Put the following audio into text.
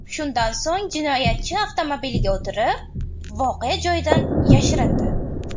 Shundan so‘ng jinoyatchi avtomobiliga o‘tirib, voqea joyidan yashirindi.